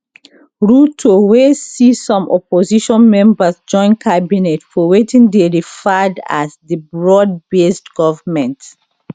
ruto wey see some opposition members join cabinet for wetin dey referred as di broadbased government